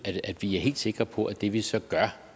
at vi er helt sikre på at det vi så gør